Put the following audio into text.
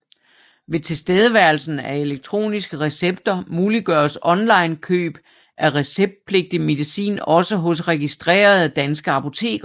Ved tilstedeværelsen af elektroniske recepter muliggøres online køb af receptpligtig medicin også hos registrerede danske apoteker